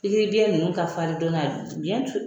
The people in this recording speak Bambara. N'i ko den ninnu ka fari jɔɔna biyɛn turu.